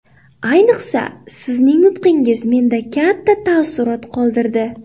Ayniqsa, Sizning nutqingiz menda katta taassurot qoldirdi.